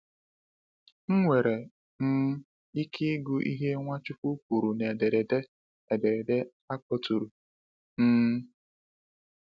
Ị nwere um ike ịgụ ihe Nwachukwu kwuru na ederede ederede a kpọtụrụ. um